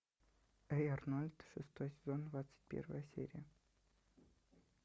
эй арнольд шестой сезон двадцать первая серия